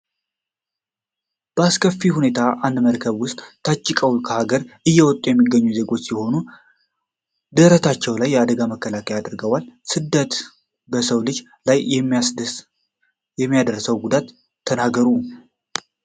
ባስኬት የሁኔታ በአንድ መርከብ ውስጥ ታጭቀው ከሀገር እየወጡ የሚገኙ ዜጎች ሲሆኑ ። ድረታቸው ላይ የአደጋ መከላከያ አድርገዋል። ስደት በሰው ልጅ ላይ የሚያደርሰውን ጉዳት ተናገሩ?